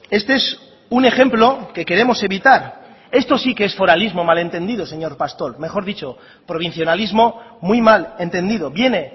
este es un ejemplo que queremos evitar esto sí que es foralismo mal entendido señor pastor mejor dicho provincionalismo muy mal entendido viene